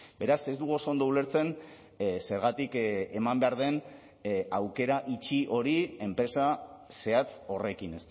beraz ez dugu oso ondo ulertzen zergatik eman behar den aukera itxi hori enpresa zehatz horrekin